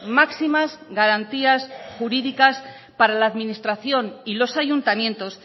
máximas garantías jurídicas para la administración y los ayuntamientos